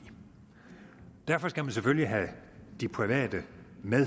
derfor skal man selvfølgelig have de private med